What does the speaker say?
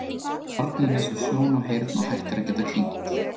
Barnið missir sjón og heyrn og hættir að geta kyngt.